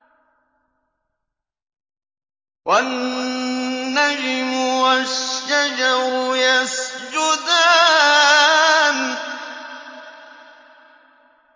وَالنَّجْمُ وَالشَّجَرُ يَسْجُدَانِ